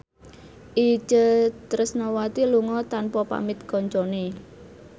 Itje Tresnawati lunga tanpa pamit kancane